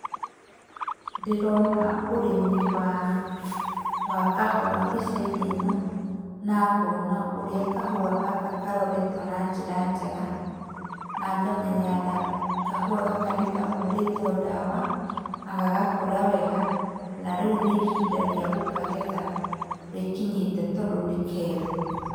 Ndĩrona ũrĩmi wa kahũa mbica-inĩ ĩno na ngona ũrĩa kahũa gaka karoretwo na njĩra njega, na ngamenya kahũa gaka nĩ kahũrĩtwo ndawa na gagakũra wega na rĩu nĩ ihinda rĩa gũkagetha rĩkinyĩte, tondũ nĩ keru.